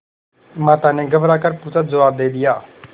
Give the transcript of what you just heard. माता ने घबरा कर पूछाजवाब दे दिया